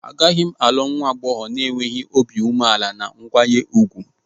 Agaghị m alụ nwa agbọghọ na-enweghị obi umeala na nkwanye ùgwù.